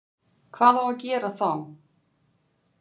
Hvað á að gera þá?